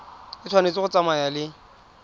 e tshwanetse go tsamaya le